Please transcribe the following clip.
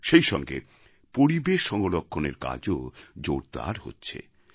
সেই সঙ্গে পরিবেশসংরক্ষণের কাজও জোরদার হচ্ছে